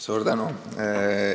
Suur tänu!